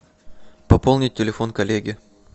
пополнить телефон коллеги